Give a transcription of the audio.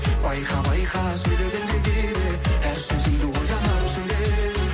байқа байқа сөйлегенде кейде әр сөзіңді ойланып сөйле